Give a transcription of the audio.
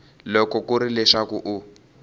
loko ku ri leswaku u